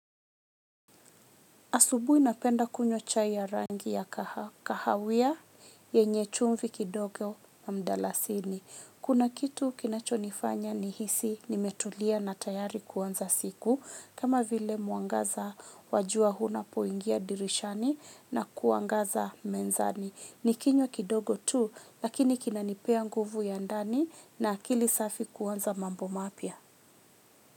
Asubui napenda kunywa chai ya rangi ya kahawia yenye chumvi kidogo na mdalasini. Kuna kitu kinacho nifanya ni hisi nimetulia na tayari kuanza siku. Kama vile mwangaza wa jua huna poingia dirishani na kuangaza menzani. Nikinywa kidogo tu lakini kinanipea nguvu ya ndani na akili safi kuanza mambo mapya.